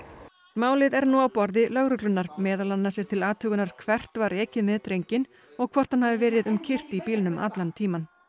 málið er nú á borði lögreglunnar meðal annars er til athugunar hvert var ekið með drenginn og hvort hann hafi verið um kyrrt í bílnum allan tímann